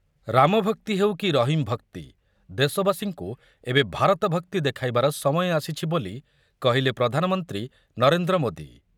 ରାମଭକ୍ତି ହେଉ କି ରହିମ ଭକ୍ତି ଦେଶବାସୀଙ୍କୁ ଏବେ ଭାରତ ଭକ୍ତି ଦେଖାଇବାର ସମୟ ଆସିଛି ବୋଲି କହିଲେ ପ୍ରଧାନମନ୍ତ୍ରୀ ନରେନ୍ଦ୍ର ମୋଦି ।